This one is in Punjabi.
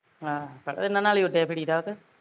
ਆਹ ਪਰ ਇਹਨਾਂ ਨਾਲ਼ ਉੱਡੇ ਫਿਰੀ ਦਾ ਵਾ ਕਿ